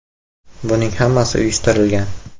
“Buning hammasi uyushtirilgan.